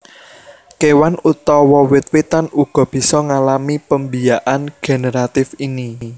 Kewan utawa wit witan uga bisa ngalami pembiakan generatif ini